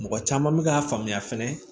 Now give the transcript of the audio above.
Mɔgɔ caman bɛ k'a faamuya fɛnɛ